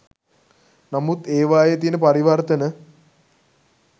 නමුත් ඒවායේ තියෙන පරිවර්තන